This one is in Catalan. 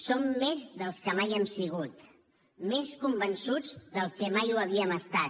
som més dels que mai hem sigut més convençuts del que mai ho havíem estat